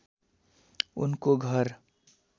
उनको घर